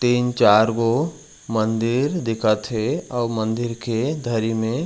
तीन चार गो मंदिर दिखत हे अऊ मंदिर के धरी में--